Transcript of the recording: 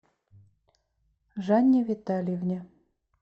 жанне витальевне